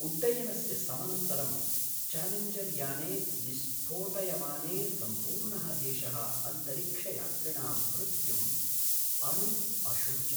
उड्डयनस्य समनन्तरं चालेञ्जर् याने विस्फोटयमाने सम्पूर्णः देशः अन्तरिक्षयात्रिणां मृत्युम् अनु अशोचत्।